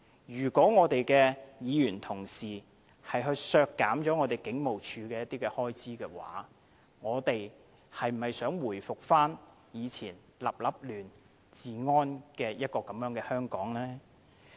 如果議員同事要削減香港警務處某些開支，他們是否想回復過往治安亂成一團的香港呢？